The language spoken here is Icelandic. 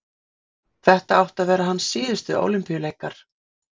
Þetta áttu að vera hans síðustu Ólympíuleikar.